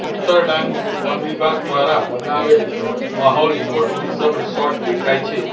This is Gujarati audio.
ઉત્તર ડાંગ વન વિભાગ દ્વારા બનાવેલ માહોલ ઈકો ટુરિઝમ રિસોર્ટ દેખાય છે.